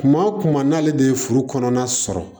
Kuma o kuma n'ale de ye furu kɔnɔna sɔrɔ